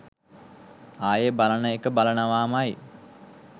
ආයේ බලන එක බලනවාමයි.